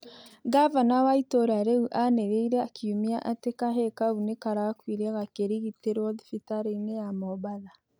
Ngabana wa itũra rĩu anĩreĩre kĩumĩa atĩ kahĩĩ kaũ nĩkarakũĩre gakĩrĩgitĩrwo thĩbĩtarĩĩnĩ ya Mombatha